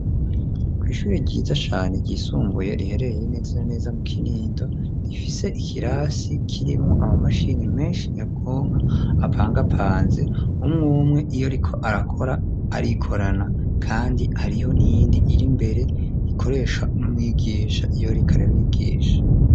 Kw'ishure ryiza cane ryisumbuye, riherereye neza na neza mu Kinindo, rifise ikirasi kirimwo amamashini menshi nyabwonko apangapanze, umwe umwe iyo ariko arakora arikorana, kandi hariho n'iyindi iri imbere ikoreshwa n'umwigisha iyo ariko arabigisha.